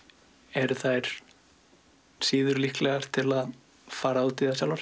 eru þær síður líklegar til að fara út í það sjálfar